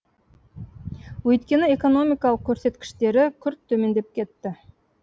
өйткені экономикалық көрсеткіштері күрт төмендеп кетті